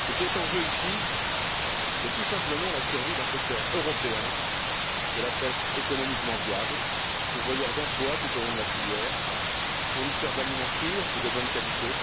Ce qui est en jeu ici, c'est tout simplement la survie d'un secteur européen de la pêche économiquement viable, pourvoyeur d'emplois tout au long de la filière, fournisseur d'aliments sûrs et de bonne qualité